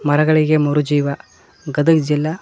ಮರಗಳಿಗೆ ಮರು ಜೀವ ಗದಗ್ ಜಿಲ್ಲಾ--